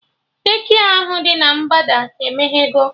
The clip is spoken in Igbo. De-kịa ahụ dị na mgbada emeghego